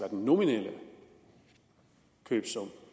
den nominelle købesum